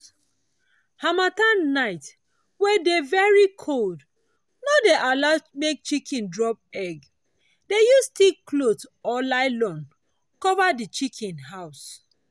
harmattan night wey dey very cold no dey allow make chiken drop egg—dey use thick cloth or nylon conver the chiken house.